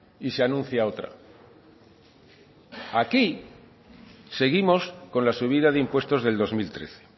y se anuncia otra aquí seguimos con la subida de impuestos del dos mil trece